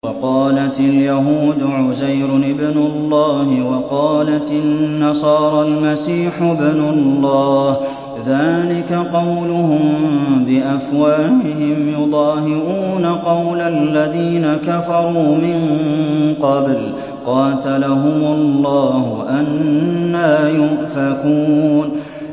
وَقَالَتِ الْيَهُودُ عُزَيْرٌ ابْنُ اللَّهِ وَقَالَتِ النَّصَارَى الْمَسِيحُ ابْنُ اللَّهِ ۖ ذَٰلِكَ قَوْلُهُم بِأَفْوَاهِهِمْ ۖ يُضَاهِئُونَ قَوْلَ الَّذِينَ كَفَرُوا مِن قَبْلُ ۚ قَاتَلَهُمُ اللَّهُ ۚ أَنَّىٰ يُؤْفَكُونَ